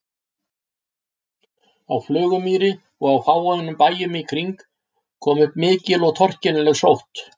Á Flugumýri og á fáeinum bæjum í kring kom upp mikil og torkennileg sótt.